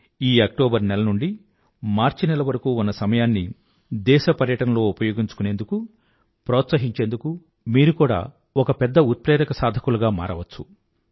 ఈ అక్టోబర్ నెల నుండీ మార్చి నెల వరకూ ఉన్న సమయాన్ని దేశ పర్యాటనలో ఉపయోగించుకుందుకు ప్రోత్సహించేందుకు మీరు కూడా ఒక పెద్ద ఉత్ప్రేరక సాధకులుగా మారచ్చు